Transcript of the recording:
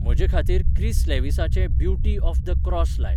म्हजे खातीर क्रिस लेवीसाचें ब्युटी ऑफ द क्रोस लाय